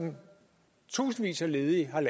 tusindvis af ledige har